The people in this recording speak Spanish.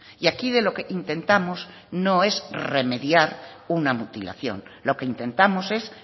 y aquí de lo que intentamos no es remediar una mutilación lo que intentamos es